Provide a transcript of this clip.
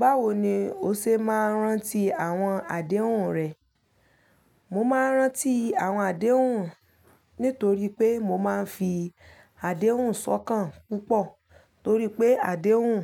Báwo ni o ṣe ma ń rántí àwọn àdéhùn rẹ? Mo má ń rántí àwọn àdéhùn nítorí pé mo máa ń fi àdéhùn sọ́kàn púpọ̀ torí pé àdéhùn,